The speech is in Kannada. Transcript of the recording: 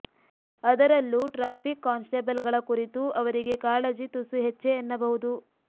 ಅದರಲ್ಲೂ ಟ್ರಾಫಿಕ್ ಕಾನ್ಸ್ಟೇಬಲ್ಗಳ ಕುರಿತು ಅವರಿಗೆ ಕಾಳಜಿ ತುಸು ಹೆಚ್ಚೇ ಎನ್ನಬಹುದು